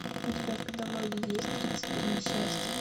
у тебя в каталоге есть тридцать три несчастья